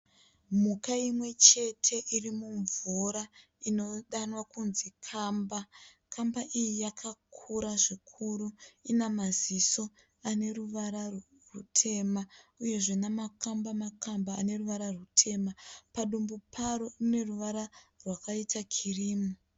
Mhuka imwe chete iri mumvura inodanwa kunzi kamba. Kamba iyi yakakura zvikuru. Ina maziso ane ruvara rutema uyezve namakwamba makwamba ane ruvara rutema. Padumbu paro ine ruvara rwakaita kirimu.